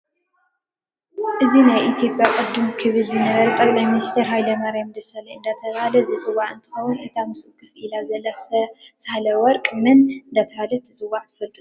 እዚ ናይ አትዮጵያ ቅድም ክብል ዝነበረ ጠቅላይሚንስተር ሃይለማርያም ደሰላኝ እዳተበሃለ ዝፅዋ እ ንትከውን እታ ምስኡ ከፍ ኢላ ዘላ ሰብለወርቅ መን እዳተባሀለት ትፅዋ ትፍልጥዶ?